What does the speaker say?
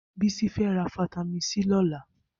Bisi fè rà fitàmín si lọ̀lá